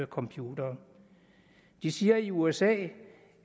computerne de siger i usa